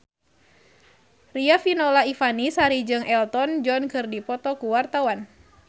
Riafinola Ifani Sari jeung Elton John keur dipoto ku wartawan